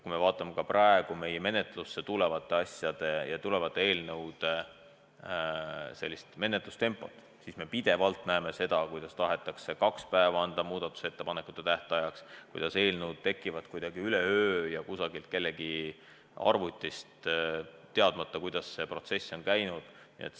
Kui me vaatame meie menetlusse tulevate eelnõude menetlust, siis me pidevalt näeme seda, et tahetakse anda kaks päeva muudatusettepanekute tähtajaks, et eelnõud tekivad kuidagi üleöö ja kusagilt kellegi arvutist, me ei tea, kuidas see protsess on käinud.